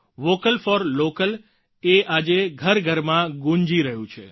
vocal for local એ આજે ઘરઘરમાં ગૂંજી રહ્યું છે